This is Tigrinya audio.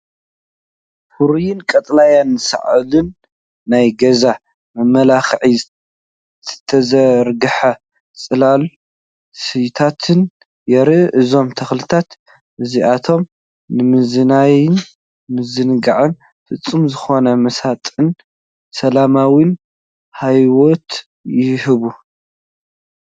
ፍሩይን ቀጠልያን ሳዕርን ናይ ገዛ መመላኽዒ ዝተዘርግሐ ጽላል ስየታትን ይርአ። እዞም ተኽልታት እዚኣቶም ንመዛነዪን ምዝንጋዕን ፍጹም ዝኾነ መሳጥን ሰላማውን ሃዋህው ይህቡ።